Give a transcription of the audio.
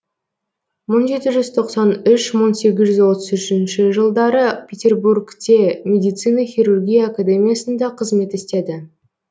мың жеті жүз тоқсан үш мың сегіз жүз отыз үшінші жылдары петербургте медицина хирургия академиясында қызмет істеді